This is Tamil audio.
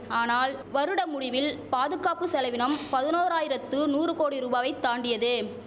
ஆனால் வருட முடிவில் பாதுகாப்பு செலவினம் பதுனொராயிரத்து நூறு கோடி ரூபாவை தாண்டியது